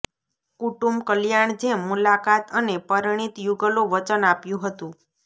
કુટુંબ કલ્યાણ જેમ મુલાકાત અને પરિણીત યુગલો વચન આપ્યું હતું